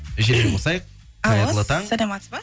желіні қосайық саламатсыз ба